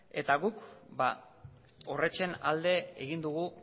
eta guk horrexen alde egin dugu